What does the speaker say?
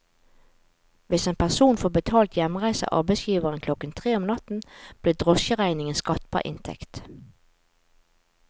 Hvis en person får betalt hjemreise av arbeidsgiveren klokken tre om natten, blir drosjeregningen skattbar inntekt.